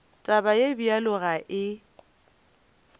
taba ye bjalo ga e